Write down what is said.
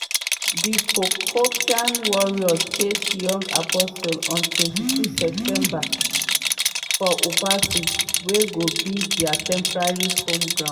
di porcupine warriors face young apostles on 22 september for obuasi wey go be dia temporary home ground.